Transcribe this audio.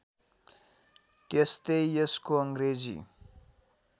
त्यस्तै यसको अङ्ग्रेजी